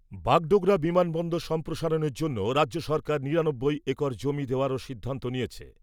বাগডোগরা বিমানবন্দর সম্প্রসারণের জন্য রাজ্য সরকার নিরানব্বই একর জমি দেওয়ারও সিদ্ধান্ত নিয়েছে।